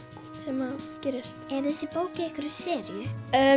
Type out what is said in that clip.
sem gerist er þessi bók í einhverri seríu